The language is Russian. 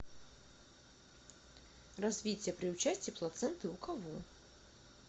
развитие при участии плаценты у кого